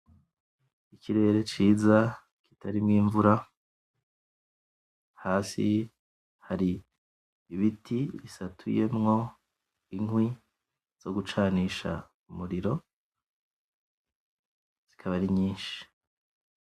Ikirere ciza kitarimwo imvura, hasi hari ibiti bisatuyemwo inkwi zo gucanisha umuriro zikaba ari nyishi.